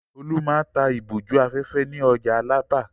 Olú máa ń ta ìbòjú-afẹ́fẹ́ ní ọjà Alábà.